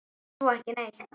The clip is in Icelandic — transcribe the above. Svo ekki neitt.